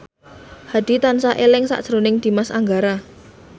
Hadi tansah eling sakjroning Dimas Anggara